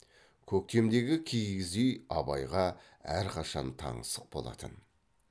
көктемдегі киіз үй абайға әрқашан таңсық болатын